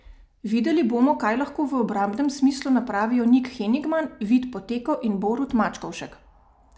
Videli bomo, kaj lahko v obrambnem smislu napravijo Nik Henigman, Vid Poteko in Borut Mačkovšek.